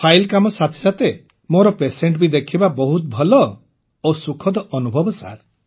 file କାମ ସାଥେ ସାଥେ ମୁଁ ପେସେଣ୍ଟ ବି ଦେଖିବା ବହୁତ ଭଲ ଓ ସୁଖଦ ଅନୁଭବ ସାର୍